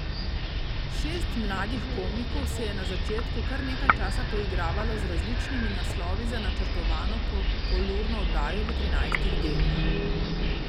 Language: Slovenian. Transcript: Šest mladih komikov se je na začetku kar nekaj časa poigravalo z različnimi naslovi za načrtovano polurno oddajo v trinajstih delih.